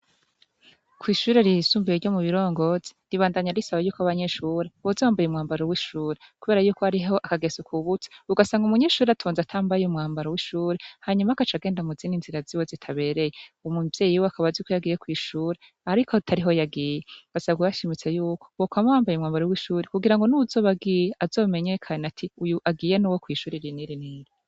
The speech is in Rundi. Kw'ishure ryisumbuye ryo mu Birongozi, ribandanya risaba yuko abanyeshure boza bambaye umwambaro w'ishure, kubera yuko hariho akageso kubutse, ugasanga umunyeshure atonze atambaye umwambaro w'ishure, hanyuma agaca agenda mu zindi nzira ziwe zitabereye, umuvyeyi wiwe akaba azi ko yagiye kw'ishure ariko atariho yagiye. Basabwa bashimitse yuko, bokwama bambaye umwambaro w'ishure kugira ngo n'uwuzoba agiye, azomenyekane ati:"Uyu agiye ni uwo kw'ishure iri n'iri."